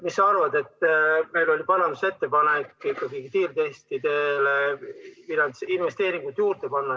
Meil oli parandusettepanek kiirtestidele investeeringuid juurde panna.